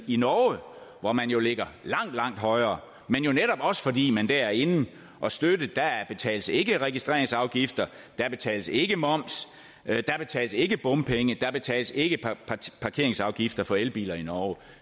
i norge hvor man jo ligger langt langt højere men jo netop også fordi man der er inde at støtte der betales ikke registreringsafgifter der betales ikke moms der betales ikke bompenge der betales ikke parkeringsafgifter for elbiler i norge